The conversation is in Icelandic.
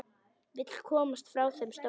Vill komast frá þeim stóra.